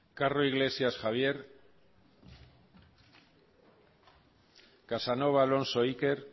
carro iglesias javier casanova alonso iker